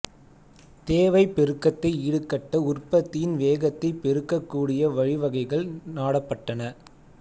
தேவைப் பெருக்கத்தை ஈடுகட்ட உற்பத்தியின் வேகத்தைப் பெருக்கக் கூடிய வழிவகைகள் நாடப்பட்டன